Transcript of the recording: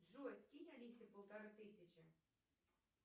джой скинь алисе полторы тысячи